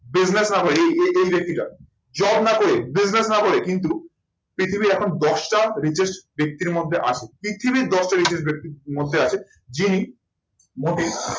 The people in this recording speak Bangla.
bussiness হবে এই এই এই ব্যক্তিটার job না করে, business না করে কিন্তু পৃথিবীর এখন দশটা richest ব্যক্তির মধ্যে আছে। পৃথিবীর দশটা richest ব্যক্তির মধ্যে আছে, যিনি মোটে